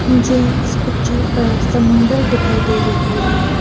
मुझे इस पिक्चर पर समुंदर दिखाई दे रही है।